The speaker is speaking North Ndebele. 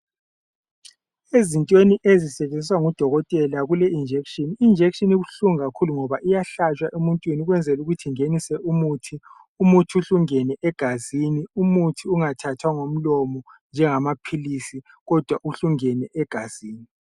Ezintweni ezisetshenziswa ngodokotela kule injection. I injection ibuhlungu kakhulu ngoba iyahlatshwa emuntwini ukwenzela ukuthi ingenise umuthi. Umuthi uhle ungene egazini umuthi ungathathwa ngomlomo njengamaphilisi kodwa uhle ungene egazini.